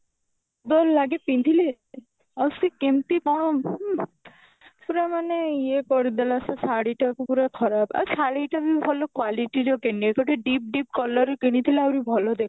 ଭଲ ଲାଗେ ପିନ୍ଧିଲେ ଆଉ ସେ କେମତି କଣ ପୁରା ମାନେ ଇଏ କରିଦେଲା ସେ ଶାଢୀ ଟାକୁ ପୁରା ଖରାପ ଆଉ ଶାଢୀ ଟା ବି ଖାଲି quality ର କିଣିନି ଗୋଟେ deep deep color ର କିଣିଥିଲେ ଆହୁରି ଭଲ